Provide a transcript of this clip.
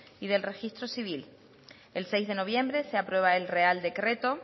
y del registro civil el seis de noviembre se aprueba el real decreto